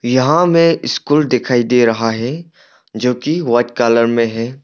यहां में स्कूल दिखाई दे रहा है जो की व्हाइट कलर मे है।